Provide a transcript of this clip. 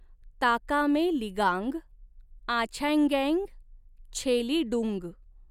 ताकामे लिगांग आछेँगेँ छेलिडुंग!